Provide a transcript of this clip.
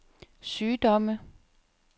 sygdomme